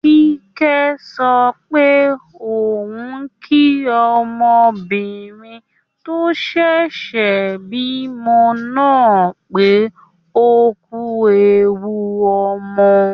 Kíkẹ́ sọ pé òun kí obìnrin tó ṣẹ̀ṣẹ̀ bímọ náà pé ókú ẹwu ọmọ